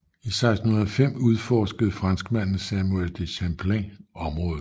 I 1605 udforskede franskmanden Samuel de Champlain området